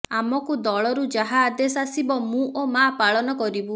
ଆମକୁ ଦଳରୁ ଯାହା ଆଦେଶ ଆସିବ ମୁଁ ଓ ମା ପାଳନ କରିବୁ